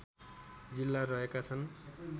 जिल्ला रहेका छन्